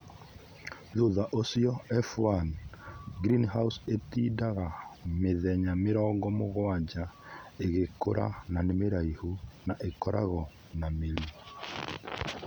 Thutha ũcio F1; - green house ĩtindaga mĩthenya mĩrongo mũgwanja ĩgĩkũra na nĩ mĩraihu na ĩkoragwo na mĩri.